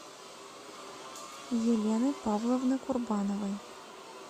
елены павловны курбановой